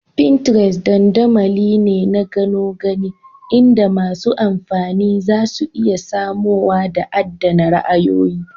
Pinterest dandamali ne na gano gani inda masu amfani zasu iya samowa da adAna ra'ayoyi